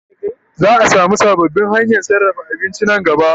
Za'a samu sababbin hanyan sarrafa abinci Nan gaba